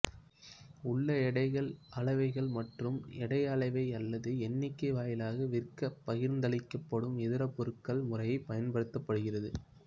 உள்ள எடைகள் அளவைகள் மற்றும் எடை அளவை அல்லது எண்ணிக்கை வாயிலாக விற்கப்படும்பகிர்ந்தளிக்கப்படும் இதர பொருட்கள் முறைப்படுத்தப்படுகிறது